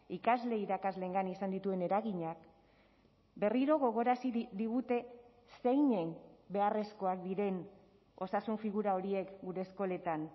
ikasle irakasleengan izan dituen eraginak berriro gogorarazi digute zeinen beharrezkoak diren osasun figura horiek gure eskoletan